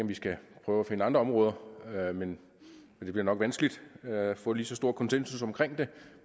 vi skal prøve at finde andre områder men det bliver nok vanskeligt at få lige så stor konsensus omkring dem